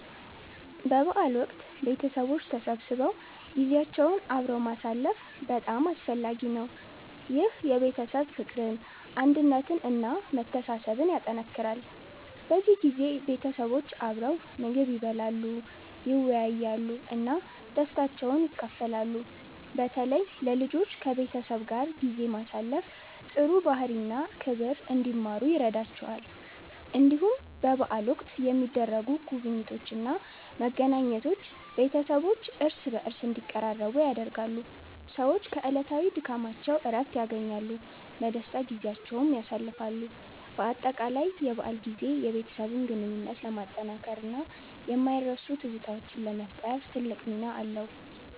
በበዓል ወቅት ቤተሰቦች ተሰብስበው ጊዜያቸውን አብረው ማሳለፍ በጣም አስፈላጊ ነው። ይህ የቤተሰብ ፍቅርን፣ አንድነትን እና መተሳሰብን ያጠናክራል። በዚህ ጊዜ ቤተሰቦች አብረው ምግብ ይበላሉ፣ ይወያያሉ እና ደስታቸውን ይካፈላሉ። በተለይ ለልጆች ከቤተሰብ ጋር ጊዜ ማሳለፍ ጥሩ ባህሪ እና ክብር እንዲማሩ ይረዳቸዋል። እንዲሁም በበዓል ወቅት የሚደረጉ ጉብኝቶች እና መገናኘቶች ቤተሰቦች እርስ በርስ እንዲቀራረቡ ያደርጋሉ። ሰዎች ከዕለታዊ ድካማቸው እረፍት ያገኛሉ፣ በደስታም ጊዜያቸውን ያሳልፋሉ። በአጠቃላይ የበዓል ጊዜ የቤተሰብ ግንኙነትን ለማጠናከር እና የማይረሱ ትዝታዎችን ለመፍጠር ትልቅ ሚና አለው።